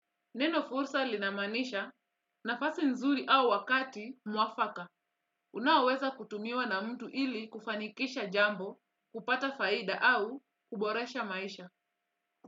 Neno fursa linamaanisha nafasi nzuri au wakati mwafaka. Unaoweza kutumiwa na mtu ili kufanikisha jambo, kupata faida au kuboresha maisha.